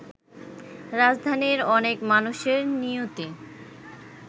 রাজধানীর অনেক মানুষের নিয়তি